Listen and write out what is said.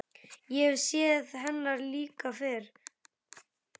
Ég hef séð hennar líka fyrr.